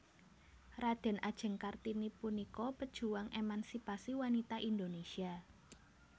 Radèn Ajeng Kartini punika pejuang émansipasi wanita Indonesia